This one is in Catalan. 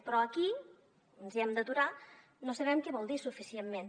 però aquí ens hem d’aturar no sabem què vol dir suficientment